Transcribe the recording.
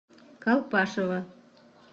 колпашево